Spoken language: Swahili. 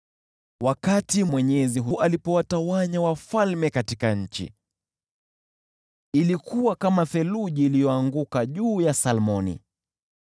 Wakati Mwenyezi alipowatawanya wafalme katika nchi, ilikuwa kama theluji iliyoanguka juu ya Salmoni.